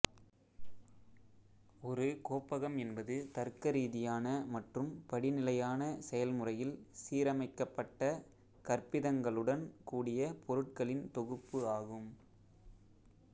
ஒரு கோப்பகம் என்பது தர்க்கரீதியான மற்றும் படிநிலையான செயல்முறையில் சீரமைக்கப்பட்ட கற்பிதங்களுடன் கூடிய பொருட்களின் தொகுப்பு ஆகும்